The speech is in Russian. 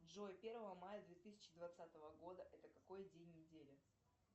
джой первого мая две тысячи двадцатого года это какой день недели